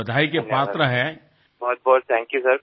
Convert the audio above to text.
এর জন্য আপনার অভিনন্দন পাওয়া উচিত রিপু দমন জি